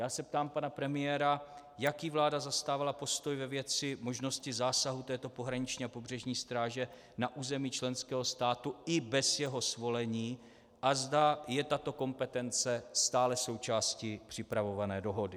Já se ptám pana premiéra, jaký vláda zastávala postoj ve věci možnosti zásahu této pohraniční a pobřežní stráže na území členského státu i bez jeho svolení a zda je tato kompetence stále součástí připravované dohody.